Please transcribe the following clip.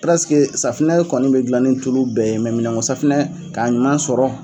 safunɛ kɔni bɛ gilan ni tulu bɛɛ ye minɛnko safunɛ k'a ɲuman sɔrɔ.